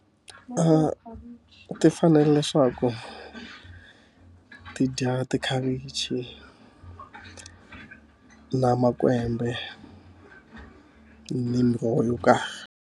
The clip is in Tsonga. ti fanele leswaku ti dya makhavichi, na makwembe, ni miroho yo karhi.